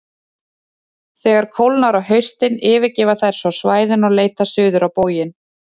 Þegar kólnar á haustin yfirgefa þær svo svæðin og leita suður á bóginn.